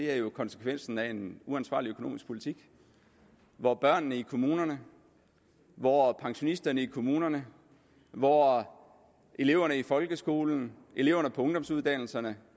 er jo konsekvensen af en uansvarlig økonomisk politik hvor børnene i kommunerne hvor pensionisterne i kommunerne hvor eleverne i folkeskolen eleverne på ungdomsuddannelserne